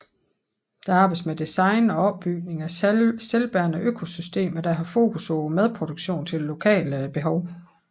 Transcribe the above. Der arbejdes med design og opbygning af selvbærende økosystemer der har fokus på madproduktion til lokale behov